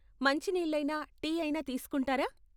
మంచినీళ్ళైనా, tea ఐనా తీసుకుంటారా?